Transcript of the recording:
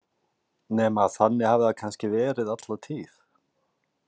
Nema að þannig hafi það kannski verið alla tíð.